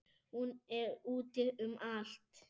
Hún er úti um allt.